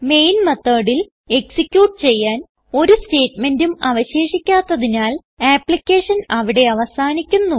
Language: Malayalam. മെയിൻ methodൽ എക്സിക്യൂട്ട് ചെയ്യാൻ ഒരു സ്റ്റേറ്റ്മെന്റും അവശേഷിക്കാത്തതിനാൽ ആപ്പ്ളിക്കേഷൻ അവിടെ അവസാനിക്കുന്നു